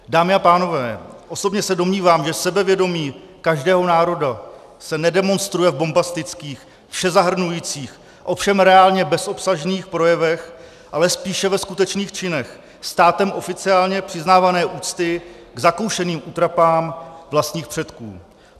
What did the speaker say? Dámy a pánové, osobně se domnívám, že sebevědomí každého národa se nedemonstruje v bombastických, všezahrnujících, ovšem reálně bezobsažných projevech, ale spíše ve skutečných činech státem oficiálně přiznávané úcty k zakoušeným útrapám vlastních předků.